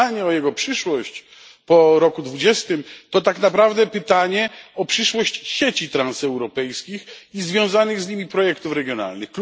Pytanie o jego przyszłość po roku 2020 to tak naprawdę pytanie o przyszłość sieci transeuropejskich i związanych z nimi projektów regionalnych.